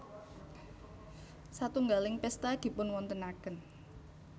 Satunggaling pésta dipunwontenaken